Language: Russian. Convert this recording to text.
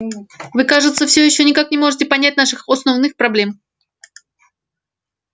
вы кажется все ещё никак не можете понять наших основных проблем